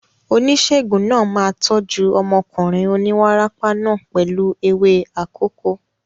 Oníṣègùn náà máa tọ́jú ọmọkùnrin oníwárápá náà pẹ̀lú ewé akòko.